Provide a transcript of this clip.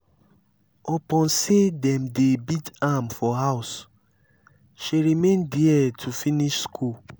upon sey dem dey beat am for house she remain there to finish skool.